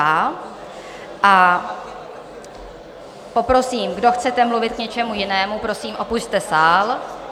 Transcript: A poprosím, kdo chcete mluvit k něčemu jinému, prosím, opusťte sál.